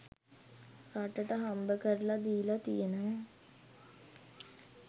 රටට හම්බකරලා දීලා තියෙනවා.